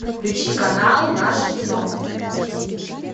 включи канал наше кино